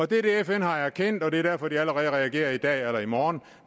det er det fn har erkendt og det er derfor de allerede reagerer i dag eller i morgen